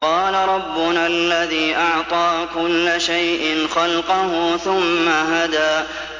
قَالَ رَبُّنَا الَّذِي أَعْطَىٰ كُلَّ شَيْءٍ خَلْقَهُ ثُمَّ هَدَىٰ